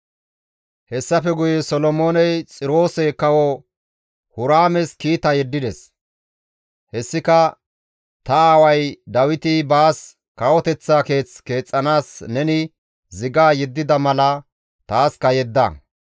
Hessafe guye Solomooney Xiroose Kawo Huraames kiita yeddides; hessika, «Ta aaway Dawiti baas kawoteththa keeth keexxanaas neni ziga yeddida mala taaska yedda.